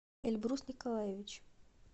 эльбрус николаевич